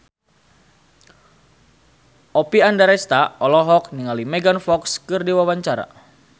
Oppie Andaresta olohok ningali Megan Fox keur diwawancara